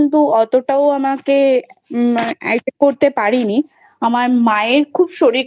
কিন্তু অতটাও আমাকে Attack করতে পারিনি। আমার মায়ের খুব শরীর